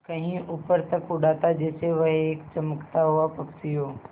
कहीं ऊपर तक उड़ाता जैसे वह एक चमकता हुआ पक्षी हो